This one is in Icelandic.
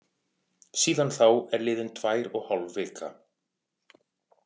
Síðan þá er liðin tvær og hálf vika.